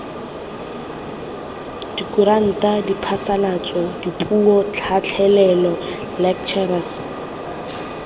dikuranta diphasalatso dipuo tlhatlhelelo lectures